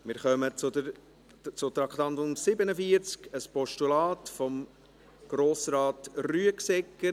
Wir kommen zum Traktandum 47, einem Postulat von Grossrat Rüegsegger.